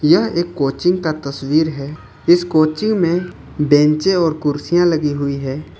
यह एक कोचिंग का तस्वीर है इस कोचिंग में बेंचे और कुर्सियां लगी हुई है।